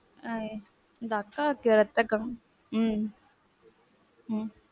ஆஹ் எங்க அக்காக்கு இரத்தம் கம்மி உம் உம்